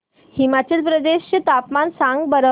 हिमाचल प्रदेश चे तापमान सांगा बरं